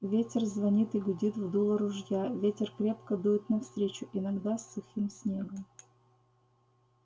ветер звонит и гудит в дуло ружья ветер крепко дует навстречу иногда с сухим снегом